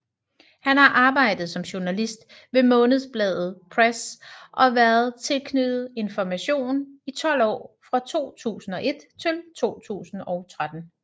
Han har arbejdet som journalist ved Månedsbladet Press og været tilknyttet Information i 12 år fra 2001 til 2013